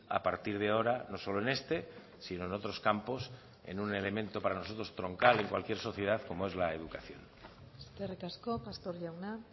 a partir de ahora no solo en este sino en otros campos en un elemento para nosotros troncal en cualquier sociedad como es la educación eskerrik asko pastor jauna